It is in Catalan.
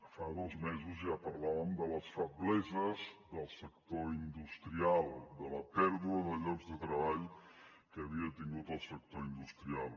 fa dos mesos ja parlàvem de les febleses del sector industrial de la pèrdua de llocs de treball que havia tingut el sector industrial